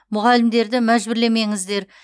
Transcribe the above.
мұғалімдерді мәжбүрлемеңіздер